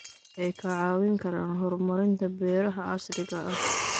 Waxay ka caawin karaan horumarinta beeraha casriga ah.